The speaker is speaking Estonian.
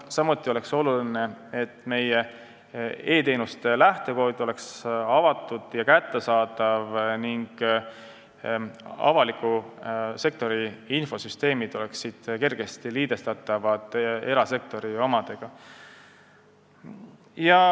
Samuti on tähtis, et meie e-teenuste lähtekood oleks avatud ja kättesaadav ning avaliku sektori infosüsteeme saaks kergesti liidestada erasektori omadega.